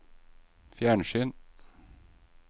fjernsyn